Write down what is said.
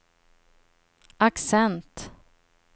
accent